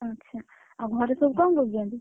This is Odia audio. ଆଚ୍ଛା, ଆଉ ଘରେ ସବୁ କଣ କରୁଛନ୍ତି?